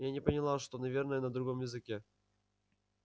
я не поняла что наверное на другом языке